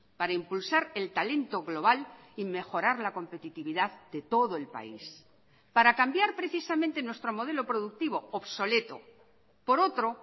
para impulsar el talento global y mejorar la competitividad de todo el país para cambiar precisamente nuestro modelo productivo obsoleto por otro